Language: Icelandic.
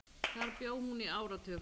Þar bjó hún í áratug.